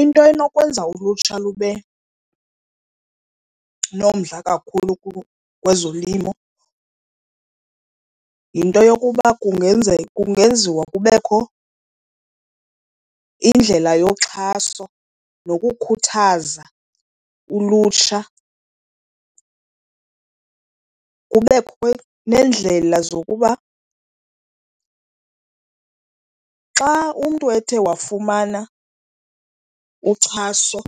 Into enokwenza ulutsha lube nomdla kakhulu kwezolimo yinto yokuba kungenziwa kubekho indlela yoxhaso nokukhuthaza ulutsha. Kubekho neendlela zokuba xa umntu ethe wafumana uxhaso